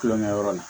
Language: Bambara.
Kulonkɛyɔrɔ la